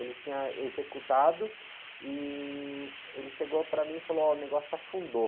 Ele tinha executado e ele chegou para mim e falou, o negócio afundou.